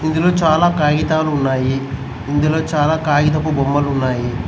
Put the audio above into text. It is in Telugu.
ఇందులో చాలా కాగితాలు ఉన్నాయి ఇందులో చాలా కాగితపు బొమ్మలు ఉన్నాయి.